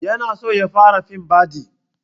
Ya na so ya fara fim baɗi